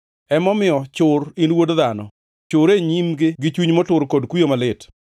“Emomiyo chur, in wuod dhano! Chur e nyimgi gi chuny motur kod kuyo malit.